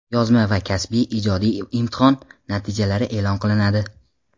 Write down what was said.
yozma va kasbiy (ijodiy) imtihon) natijalari e’lon qilinadi.